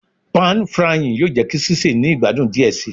Pàn frying yoo jẹ ki sise ni igbadun diẹ sii